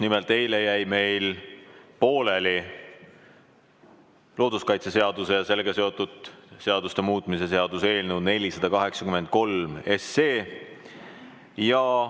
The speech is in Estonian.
Nimelt, eile jäi meil pooleli looduskaitseseaduse ja sellega seotud seaduste muutmise seaduse eelnõu 483 arutelu.